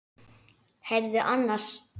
Heyrðu annars.